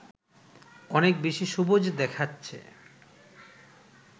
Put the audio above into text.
অনেক বেশি সবুজ দেখাচ্ছে